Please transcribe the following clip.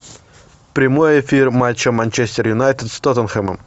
прямой эфир матча манчестер юнайтед с тоттенхэмом